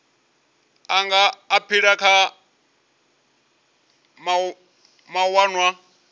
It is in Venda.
a nga aphila kha mawanwa